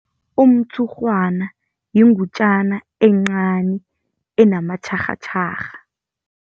Umtshurhwana yingutjana encani enamatjharhatjharha.